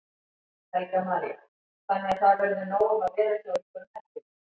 Helga María: Þannig að það verður nóg um að vera hjá ykkur um helgina?